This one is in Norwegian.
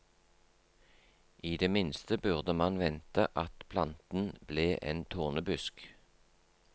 I det minste burde man vente at planten ble en tornebusk.